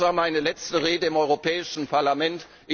Dies war meine letzte Rede im Europäischen Parlament.